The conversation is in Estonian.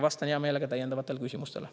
Vastan hea meelega täiendavatele küsimustele.